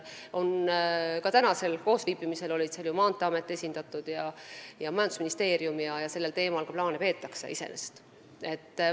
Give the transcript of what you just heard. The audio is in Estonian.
Ka tänasel koosviibimisel olid esindatud Maanteeamet ja majandusministeerium, nii et iseenesest sellel teemal plaane peetakse.